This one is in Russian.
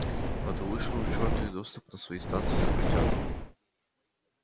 а то вышвырнут к чёрту и доступ на свои станции запретят